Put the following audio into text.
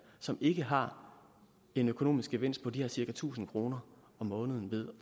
som ikke har en økonomisk gevinst på de her cirka tusind kroner om måneden ved